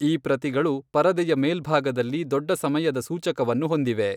ಈ ಪ್ರತಿಗಳು ಪರದೆಯ ಮೇಲ್ಭಾಗದಲ್ಲಿ ದೊಡ್ಡ ಸಮಯದ ಸೂಚಕವನ್ನು ಹೊಂದಿವೆ.